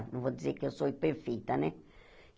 Não vou dizer que eu sou perfeita, né?